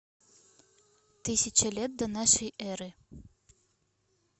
тысяча лет до нашей эры